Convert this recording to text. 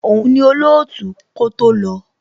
Òun ni olootu kó tó lọ.